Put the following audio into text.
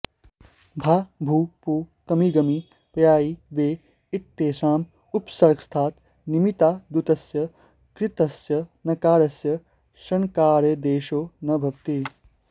भा भू पू कमि गमि पयायी वेप इत्येतेषाम् उपसर्गस्थात् निमित्तादुत्तरस्य कृत्स्थस्य नकारस्य णकारादेशो न भवति